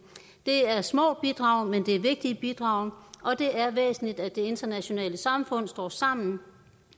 det er små bidrag men det er vigtige bidrag og det er væsentligt at det internationale samfund står sammen